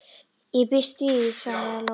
Ég býst við því, svaraði Lóa.